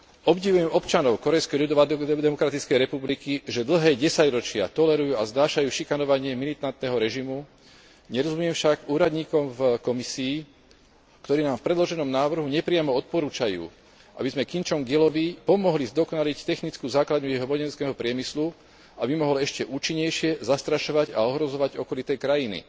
Obdivujem občanov Kórejskej ľudovodemokratickej republiky, že dlhé desaťročia tolerujú a znášajú šikanovanie militantného režimu, nerozumiem však úradníkom v Komisii, ktorí nám v predloženom návrhu nepriamo odporúčajú, aby sme Kim Čong ilovi pomohli zdokonaliť technickú základňu jeho vojenského priemyslu, aby mohol ešte účinnejšie zastrašovať a ohrozovať okolité krajiny.